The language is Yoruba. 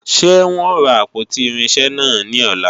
Ṣé wọn ó ra àpótí irinṣẹ́ náà ní ọ̀la?